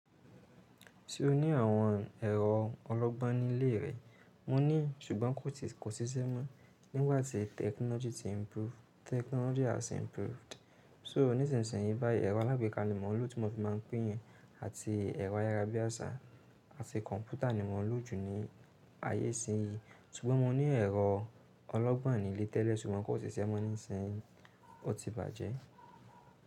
Ṣé o ní àwọn ẹ̀rọ ọlọ́gbọ́n nílé rẹ? Mo ní, ṣùgbọ́n kò sìsẹ́ mọ́. Nígbà tí technology ti improve, technology has improved. Só níṣinsìnyí báyìí, ẹ̀rọ alágbèéká ni mo lò tí mo fi máa ń pín àti ẹ̀rọ ayárabíàṣá àti kọ̀ǹpútà ni mo lò jù ní ayé ìsinsìnyí. Ṣùgbọ́n mo ní ẹ̀rọ ọlọ́gbọ́n nílé tẹ́lẹ̀ ṣùgbọ́n kò ṣiṣẹ́ mọ́ nísinsìnyí, ó ti bàjẹ́.